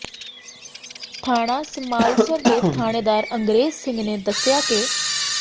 ਥਾਣਾ ਸਮਾਲਸਰ ਦੇ ਥਾਣੇਦਾਰ ਅੰਗਰੇਜ਼ ਸਿੰਘ ਨੇ ਦੱਸਿਆ ਕ